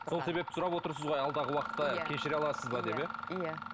сол себепті сұрап отырсыз ғой алдағы уақытта кешіре аласыз ба деп иә иә